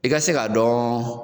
I ka se ka dɔn